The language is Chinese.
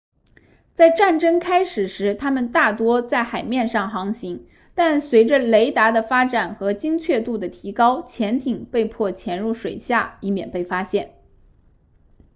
在战争开始时它们大多在海面上航行但随着雷达的发展和精确度的提高潜艇被迫潜入水下以免被发现